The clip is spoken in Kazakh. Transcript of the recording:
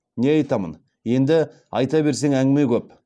не айтамын енді айта берсең әңгіме көп